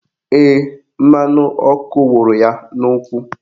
Ee, mmanụ ọkụ wụrụ ya n'ụkwụ